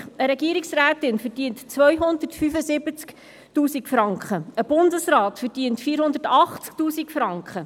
Eine Regierungsrätin verdient 275 000 Franken, ein Bundesrat 480 000 -Franken.